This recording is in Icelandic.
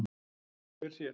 Hver sér?